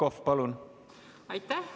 Aitäh!